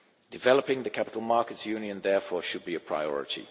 Developing the Capital Markets Union, therefore, should be a priority.